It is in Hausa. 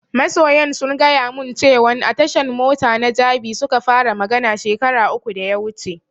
Masoyan sun gaya mun cewan a tashan mota na jabi suka fara magana shekara uku da ya wuce